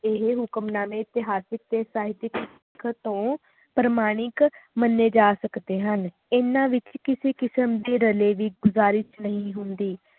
ਇਹ ਹੁਕਮਨਾਮੇ ਇਤਿਹਾਸਿਕ ਤੇ ਸਾਹਿਤਿਕ ਲਿਖਤ ਤੋਂ ਪ੍ਰਮਾਣਿਕ ਮੰਨੇ ਜਾ ਸਕਦੇ ਹਨ ਇਹਨਾਂ ਵਿਚ ਕਿਸੇ ਕਿਸਮ ਦੀ ਰਲੇ ਦੀ ਗੁਜ਼ਾਰਿਸ਼ ਨਹੀਂ ਹੁੰਦੀ